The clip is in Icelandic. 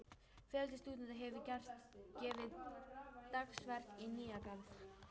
Fjöldi stúdenta hefur gefið dagsverk í Nýja-Garð.